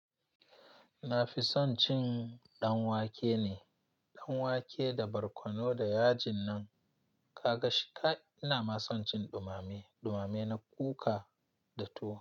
Na fi son cin danwake ne, danwake da barkono da yajin nan ka ga shi. Ina ma son cin dumame, dumame na kuka da tuwo.